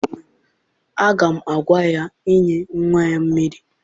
Aga m agwa ya nye nnwa ya mmiri!